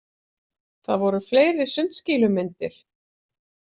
Það voru fleiri sundskýlumyndir.